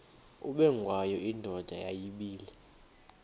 ubengwayo indoda yayibile